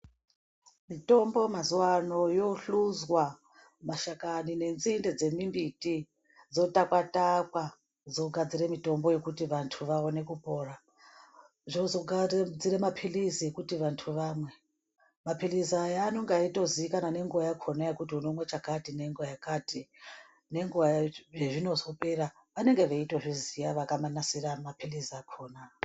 Mitombo mazuwano yohluzwa mashakani nenzinde dzemimbuti dzotakwa takwa dzogadzire mitombo yekuti vanthu vaone kupona zvizogadzire mapilizi yekuti vanthu vamwe mapilizi aya anenge eitozikanwa nenguwa yakhona yekuti unomwa chakati ngenguwa yakati nenguwa yezvinozopera vanenge veitozviziya vakanasira mapilizi akhona.